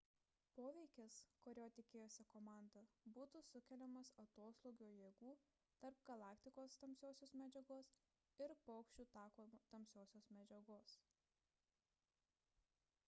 poveikis kurio tikėjosi komanda būtų sukeliamas atoslūgio jėgų tarp galaktikos tamsiosios medžiagos ir paukščių tako tamsiosios medžiagos